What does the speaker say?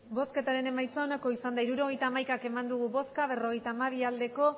botoak hirurogeita hamaika bai berrogeita hamabi abstentzioak